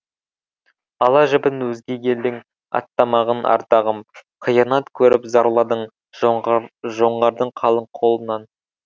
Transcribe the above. ала жібін өзге елдің аттамаған ардағым қиянат көріп зарладың жоңғардың қалың қолынан